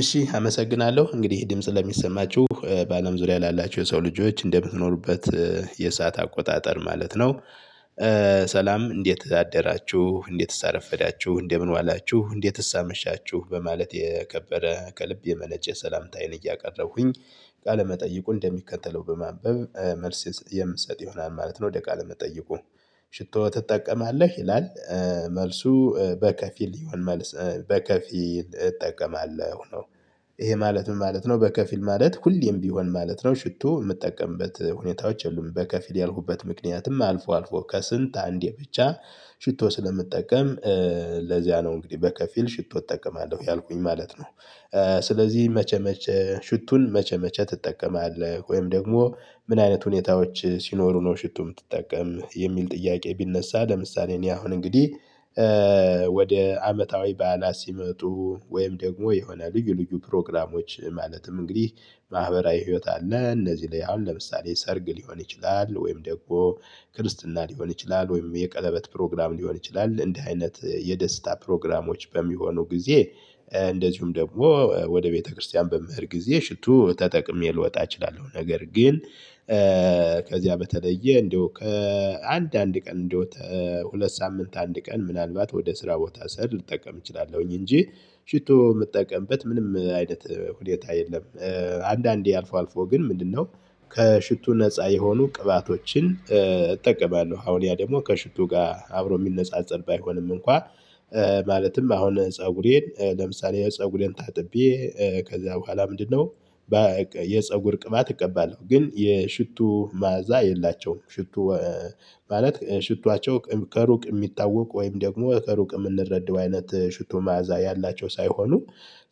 እሺ አመሰግናለሁ እንግዲህ ድምጽ ለሚሰማችሁ በአለም ዙሪያ ላላችሁ የሰው ልጆች እንደምትኖሩበት የሰዓት አቆጣጠር ማለት ነው። ሰላም እንዴት አደራችሁ እንዴት አረፍዳችሁ እንደምን ዋላችሁ እንዴት አመሻችሁ በማለት የከበረ ከልብ የመነጨ ሰላምታ አይን እያቀረብኩኝ። ቃለ መጠይቁን እንደሚከተለው በማንበብ መልስ የምሰጥ ይሆናል ማለት ነው። ወደ ቃለ መጠይቁ ሽቶ ትጠቀማለህ ይላል? መልሱ በከፊል ይሆን መልስ በከፊል እጠቀማለሁ ነው። ይሄ ማለት ምን ማለት ነው? በከፊል ማለት ሁሌም ቢሆን ማለት ነው ሽቶ የምጠቀምበት ሁኔታዎች የሉም። በከፊል ያልኩበት ምክንያትም አልፎ አልፎ ከስንት አንዴ ብቻ ሽቶ ስለምጠቀም ለዚያ ነው። እንግዲህ በከፊል ሽቶ እጠቀማለሁ ያልኩኝ ማለት ነው። ስለዚህ መቼ መቼ ሽቱን መቼ መቼ ትጠቀማለህ ወይም ደግሞ ምን አይነት ሁኔታዎች ሲኖሩ ነው ሽቱ የምትጠቀም የሚል ጥያቄ ቢነሳ? ለምሳሌ እኔ አሁን እንግዲህ። ወደ አመታዊ በዓላት ሲመጡ ወይም ደግሞ የሆነ ልዩ ልዩ ፕሮግራሞች ማለትም እንግዲህ ማህበራዊ ህይወት አለ እነዚህ ላይ አሁን ለምሳሌ ሰርግ ሊሆን ይችላል ወይም ደግሞ ክርስትና ሊሆን ይችላል ወይም የቀለበት ፕሮግራም ሊሆን ይችላል እንዲህ አይነት የደስታ ፕሮግራሞች በሚሆኑ ጊዜ። እንደዚሁም ደግሞ ወደ ቤተክርስቲያን በምሄድ ጊዜ ሽቶ ተጠቅሜ ልወጣ እችላለሁ። ነገር ግን ከዚያ በተለየ እንደው ከአንድ አንድ ቀን እንደው ሁለት ሳምንት አንድ ቀን ምናልባት ወደ ስራ ቦታ ስሄድ ልጠቀም እችላለሁኝ እንጂ። ሽቶ የምጠቀምበት ምንም አይነት ሁኔታ የለም። አንዳንዴ አልፎ አልፎ ግን ምንድነው ከሽቱ ነፃ የሆኑ ቅባቶችን እጠቀማለሁ። አሁን ያ ደግሞ ከሽቱ ጋር አብሮ የሚነጻጸር ባይሆንም እንኳን። ማለትም አሁን ፀጉሬን ለምሳሌ ፀጉሬን ታጥቤ ከዛ በኋላ ምንድነው የፀጉር ቅባት እቀባለሁ። ግን የሽቱ መዓዛ የላቸውም። ሽቱ ማለት ሽቷቸው ከሩቅ የሚታወቅ ወይም ደግሞ ከሩቅ የምንረዳው አይነት ሽቶ መዓዛ ያላቸው ሳይሆኑ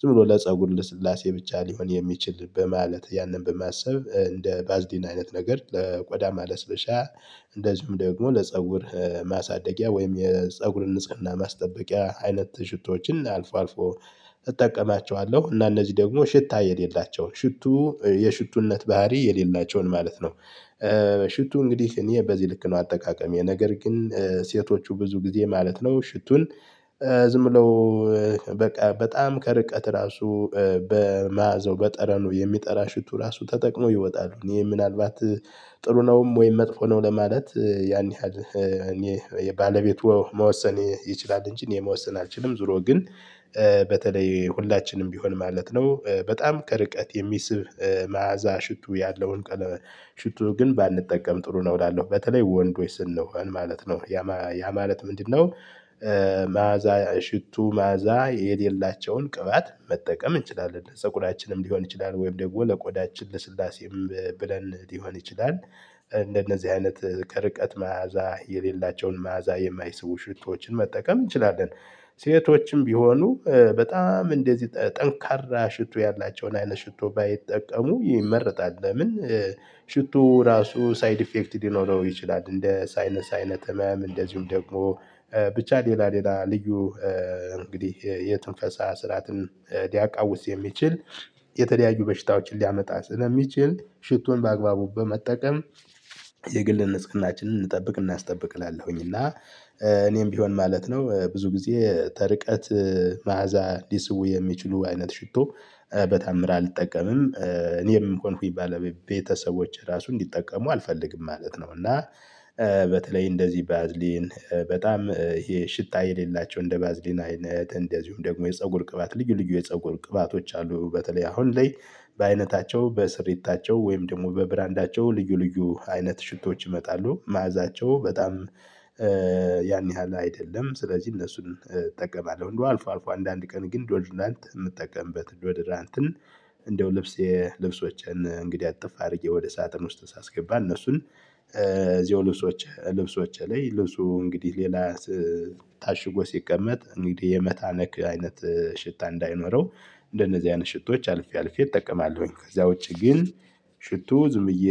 ዝም ብሎ ለፀጉር ልስላሴ ብቻ ሊሆን የሚችል በማለት ያንን በማሰብ እንደ ባዝሊን አይነት ነገር ለቆዳ ማለስለሻ። እንደዚሁም ደግሞ ለፀጉር ማሳደጊያ ወይም የፀጉርን ንጽህና ማስጠበቂያ አይነት ሽቶችን አልፎ አልፎ እጠቀማቸዋለሁ እና እነዚህ ደግሞ ሽታ የሌላቸው ሽቱ የሽቱነት ባህሪ የሌላቸውን ማለት ነው። ሽቱ እንግዲህ እኔ በዚህ ልክ ነው አጠቃቀሜ። ነገር ግን ሴቶቹ ብዙ ጊዜ ማለት ነው ሽቱን። ዝም ብለው በቃ በጣም ከርቀት ራሱ በመያዘው በጠረኑ የሚጠራ ሽቱ ራሱ ተጠቅሞ ይወጣሉ እኔ ምናልባት ጥሩ ነውም ወይም መጥፎ ነው ለማለት ያን ያህል እኔ የባለቤቱ መወሰን ይችላል። እንጂ እኔ መወሰን አልችልም። ዙሮ ግን በተለይ ሁላችንም ቢሆን ማለት ነው በጣም ከርቀት የሚስብ መዓዛ ሽቱ ያለውን ቀለም። ሽቱ ግን ባንጠቀም ጥሩ ነው እላለሁ። በተለይ ወንዶች ስንሆን ማለት ነው ያ ማለት ምንድነው? መዓዛ ሽቱ መዓዛ የሌላቸውን ቅባት መጠቀም እንችላለን ጸጉራችንም ሊሆን ይችላል ወይም ደግሞ ለቆዳችን ልስላሴም ብለን ሊሆን ይችላል። እንደነዚህ አይነት ከርቀት መዓዛ የሌላቸውን መዓዛ የማይስቡ ሽቶችን መጠቀም እንችላለን። ሴቶችም ቢሆኑ በጣም እንደዚህ ጠንካራ ሽቶ ያላቸውን አይነት ሽቶ ባይጠቀሙ ይመረጣል ለምን? ሽቱ ራሱ ሳይድ ኢፌክት ሊኖረው ይችላል። እንደ ሳይነስ አይነት ምናምን እንደዚሁም ደግሞ ብቻ ሌላ ሌላ ልዩ እንግዲህ የትንፈሳ ስርዓትን ሊያቃውስ የሚችል የተለያዩ በሽታዎችን ሊያመጣ ስለሚችል ሽቶን በአግባቡ በመጠቀም። የግል ንጽህናችንን እንጠብቅ እናስጠብቅ እላለሁኝ እና። እኔም ቢሆን ማለት ነው። ብዙ ጊዜ ከርቀት መዓዛ ሊስቡ የሚችሉ አይነት ሽቶ በተአምር አልጠቀምም እኔም ሆንኩኝ ባለ ቤተሰቦች ራሱ እንዲጠቀሙ አልፈልግም ማለት ነው። እና። በተለይ እንደዚህ ባዝሊን በጣም ይሄ ሽታ የሌላቸው እንደ ባዝሊና አይነት እንደዚሁም ደግሞ የፀጉር ቅባት ልዩ ልዩ የፀጉር ቅባቶች አሉ። በተለይ አሁን ላይ በአይነታቸው በስሪታቸው ወይም ደግሞ በብራንዳቸው ልዩ ልዩ አይነት ሽቶች ይመጣሉ። መዓዛቸው በጣም ያን ያህል አይደለም ስለዚህ እነሱን እጠቀማለሁ። እንደው አልፎ አልፎ አንዳንድ ቀን ግን ዶድራንት የምጠቀምበት ዶድራንትን። እንደው ልብስ የልብሶችን እንግዲህ አጥፍ አድርጌ ወደ ሳጥን ውስጥ ሳስገባ እነሱን እዚሁ ልብሶች ልብሶች ላይ ልብሱ እንግዲህ ሌላ ታሽጎ ሲቀመጥ እንግዲህ የመታመክ አይነት ሽታ እንዳይኖረው። እንደነዚህ አይነት ሽቶች አልፌ አልፌ እጠቀማለሁኝ። ከዛ ውጪ ግን። ሽቶ ዝም ብዬ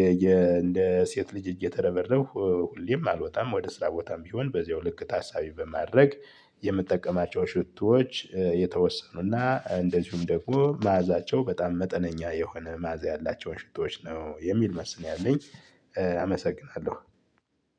እንደ ሴት ልጅ እየተረበረብኩ ብዬም አልወጣም። ወደ ስራ ቦታም ቢሆን በዚሁ ልክ ታሳቢ በማድረግ የምጠቀማቸው ሽቶዎች የተወሰኑና እንደዚሁም ደግሞ መዓዛቸው በጣም መጠነኛ የሆነ መዓዛ ያላቸውን ሽቶች ነው የሚል መልስ ነው ያለኝ። አመሰግናለሁ።